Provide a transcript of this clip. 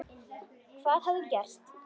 Hvað hafði gerst?